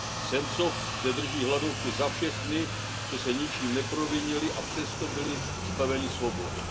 Sencov zde drží hladovku za všechny, co se ničím neprovinili a přesto byli zbaveni svobody.